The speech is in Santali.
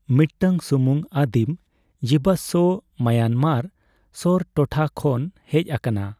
ᱢᱤᱫᱴᱟᱝ ᱥᱩᱢᱩᱝ ᱟᱹᱫᱤᱢ ᱡᱤᱵᱟᱥᱥᱚ ᱢᱟᱭᱟᱱᱢᱟᱨ ᱥᱳᱨ ᱴᱚᱴᱷᱟ ᱠᱷᱚᱱ ᱦᱮᱡ ᱟᱠᱟᱱᱟ ᱾